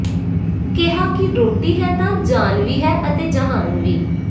ਕਿਹਾ ਕਿ ਰੋਟੀ ਹੈ ਤਾਂ ਜਾਨ ਵੀ ਹੈ ਅਤੇ ਜਹਾਨ ਵੀ